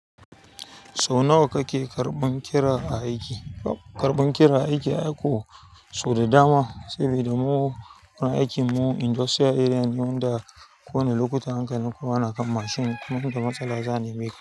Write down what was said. Sau nawa kake karɓan kira a aiki tab karɓan kira karban kira aiki akwai sau da dama saboda muna aikin industrial area, inda kowane lokuta hankalin ku yana kan mashin. Kuma inda matsala za'a nemeka.